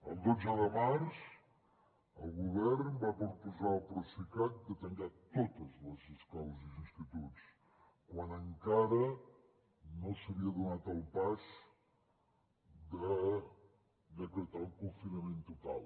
el dotze de març el govern va proposar al procicat de tancar totes les escoles i els instituts quan encara no s’havia donat el pas de decretar un confinament total